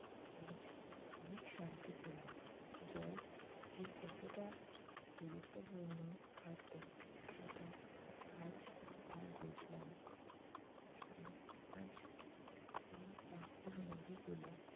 অনেক শান্তি পেলাম। জল যে কতটা গুরুত্বপূর্ণ খাদ্য সেটা আজ আমি বুঝলাম আর আজ এই পাথর নুরি গুলো